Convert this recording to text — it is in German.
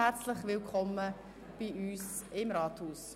Herzlich willkommen bei uns im Rathaus.